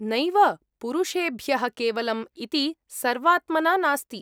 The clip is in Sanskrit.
नैव, पुरुषेभ्यः केवलम् इति सर्वात्मना नास्ति।